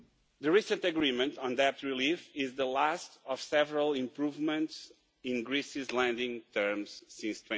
The recent agreement on debt relief is the last of several improvements in Greece's lending terms since